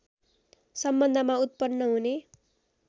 सम्बन्धमा उत्पन्न हुने